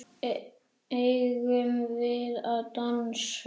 Eigum við að dansa?